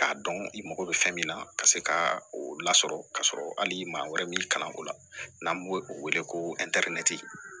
K'a dɔn i mago bɛ fɛn min na ka se ka o lasɔrɔ ka sɔrɔ hali maa wɛrɛ b'i kalan o la n'an b'o o wele ko